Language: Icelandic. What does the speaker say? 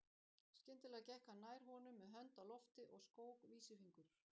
Skyndilega gekk hann nær honum með hönd á lofti og skók vísifingur.